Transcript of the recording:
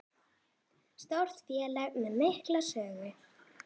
Stórt félag með mikla sögu